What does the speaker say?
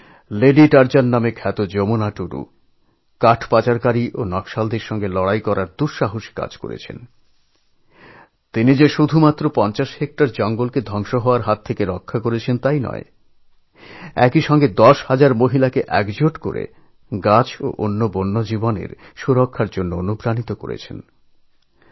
ঝাড়খণ্ডের বিখ্যাত lady Tarzan হিসেবে খ্যাত যমুনা টুডু গাছপাচারকারী মাফিয়া ও নকশালদের মোকাবিলা করার মত সাহসী কাজ করে তিনি শুধু ৫০ হেক্টর জঙ্গল উজাড় হয়ে যাওয়ার হাত থেকে বাঁচাননি উপরন্তু দশ হাজার মহিলাকে একজোট করে গাছ ও বন্যপ্রাণীদের সুরক্ষার জন্য পাঠিয়েছেন